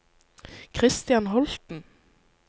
Kristian Holten